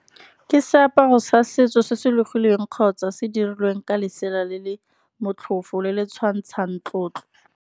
Ke seaparo sa setso se se logilweng, kgotsa se dirilweng ka lesela le le motlhofo, le le tshwantshang tlotlo.